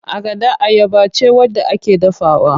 Agada ayaba ce wadda ake dafawa.